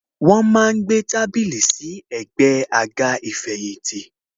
Wọn má ń gbé tábìlì sí ẹ̀gbẹ́ àga ìfẹ̀yìntì.